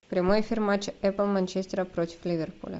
прямой эфир матча апл манчестера против ливерпуля